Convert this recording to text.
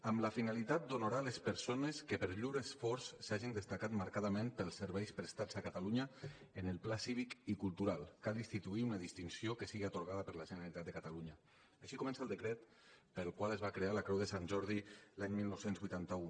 amb la finalitat d’honorar les persones que per llur esforç s’hagin destacat marcadament pels serveis prestats a catalunya en el pla cívic i cultural cal instituir una distinció que sigui atorgada per la generalitat de catalunya així comença el decret pel qual es va crear la creu de sant jordi l’any dinou vuitanta u